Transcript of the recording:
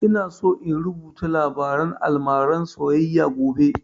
Ina so in rubuta labarin almaran soyayya gobe